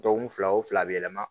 Dɔgɔkun fila o fila yɛlɛma